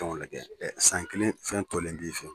Dɔnku , o lajɛ san kelen fɛn tɔlen b'i fɛ yen!